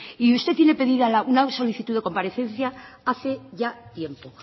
y usted tiene pedida una solicitud de comparecencia hace ya tiempo